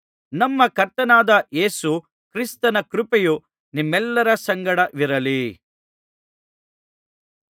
ನಮ್ಮ ಕರ್ತನಾದ ಯೇಸು ಕ್ರಿಸ್ತನ ಕೃಪೆಯು ನಿಮ್ಮೆಲ್ಲರ ಸಂಗಡವಿರಲಿ